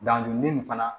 Dajurunin fana